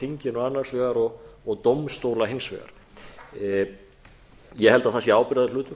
þinginu annars vegar og dómstóla hins vegar ég held að það sé ábyrgðarhlutur